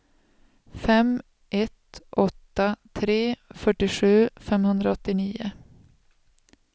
fem ett åtta tre fyrtiosju femhundraåttionio